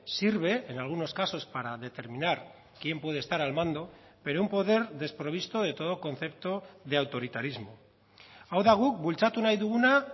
sirve en algunos casos para determinar quién puede estar al mando pero un poder desprovisto de todo concepto de autoritarismo hau da guk bultzatu nahi duguna